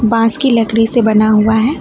बांस की लकड़ी से बना हुआ है।